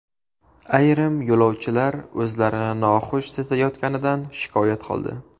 Ayrim yo‘lovchilar o‘zlarini noxush sezayotganidan shikoyat qildi.